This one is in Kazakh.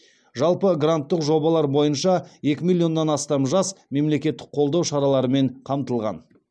жалпы гранттық жобалар бойынша екі миллионнан астам жас мемлекеттік қолдау шараларымен қамтылған